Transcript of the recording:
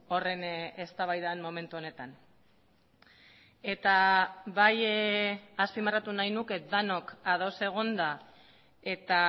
horren eztabaidan momentu honetan eta bai azpimarratu nahi nuke denok ados egonda eta